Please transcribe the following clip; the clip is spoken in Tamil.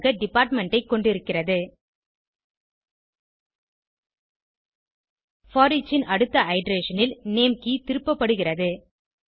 கே ஆக டிபார்ட்மெண்ட் ஐ கொண்டிருக்கிறது போரிச் ன் அடுத்த இட்டரேஷன் ல் நேம் கே திருப்பப்படுகிறது